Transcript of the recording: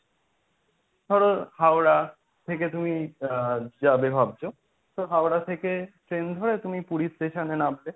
ধরো হাওড়া থেকে তুমি আ যাবে ভাবছো তো হাওড়া থেকে train ধরে তুমি পুরী station এ নামবে।